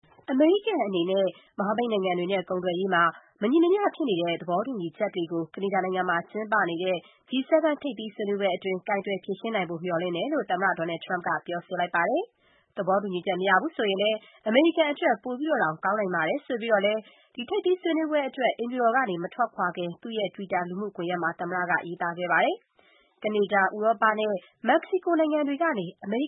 အမေရိကန်အနေနဲ့ မဟာမိတ်နိုင်ငံတွေနဲ့ ကုန်သွယ်ရေးမှာ မညီမျှမမျှဖြစ်နေတဲ့ သဘောတူညီချက်တွေကို ကနေဒါနိုင်ငံ Quebec မြို့မှာကျင်းပနေတဲ့ G-7 ထိပ်သီးဆွေးနွေးပွဲမှာ ကိုင်တွယ်ဖြေရှင်းနိုင်ဖို့ မျှော်လင့်တယ်လို့ သမ္မတ Donald Trump က ပြောဆိုလိုက်ပါတယ်။ သဘောတူညီချက် မရဘူးဆိုရင်လည်း အမေရိကန်အတွက် ပိုတောင် ကောင်းနိုင်ပါတယ် ဆိပြီးတော့လည်း ထိပ်သီးဆွေးနွေးပွဲအတွက် အိမ်ဖြူတော်ကနေ မထွက်ခွာခင် သူ့ရဲ့တွီတာလူမှုကွန်ရက်မှာ ရေးသားခဲ့ပါတယ်။ ကနေဒါ၊ ဥရောပသမဂ္ဂနဲ့ မက္ကဆီကိုနိုင်ငံတွေကနေ အမေရိကန်